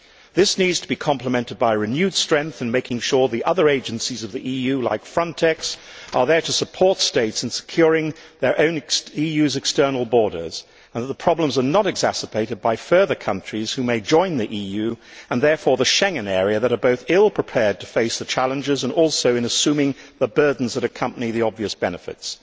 This needs to be complemented by renewed strength in making sure the other agencies of the EU, like Frontex, are there to support states in securing their own EU external borders, and that the problems are not exacerbated by further countries which may join the EU and therefore the Schengen area that are both ill prepared to face the challenges and also to assume the burdens that accompany the obvious benefits.